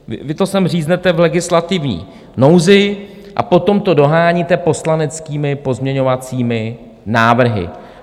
Vy to sem říznete v legislativní nouzi a potom to doháníte poslaneckými pozměňovacími návrhy.